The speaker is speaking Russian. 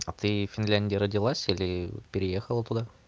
а ты в финляндии родилась или переехала туда